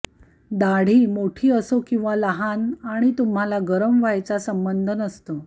दाढी मोठी असो किंवा लहान आणि तुम्हाला गरम व्हायचा संबंध नसतो